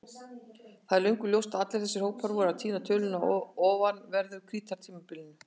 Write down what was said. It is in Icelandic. Það er löngu ljóst að allir þessir hópar voru að týna tölunni á ofanverðu Krítartímabilinu.